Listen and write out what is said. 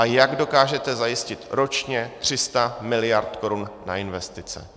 A jak dokážete zajistit ročně 300 mld. korun na investice?